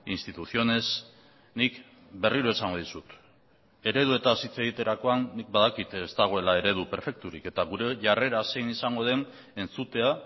instituciones nik berriro esango dizut ereduetaz hitz egiterakoan nik badakit ez dagoela eredu perfekturik eta gure jarrera zein izango den entzutea